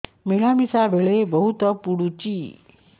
ମିଳାମିଶା ବେଳେ ବହୁତ ପୁଡୁଚି